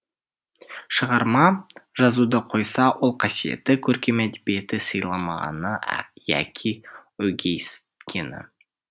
шығарма жазуды қойса ол қасиетті көркем әдебиетті сыйламағаны яки өгейсіткені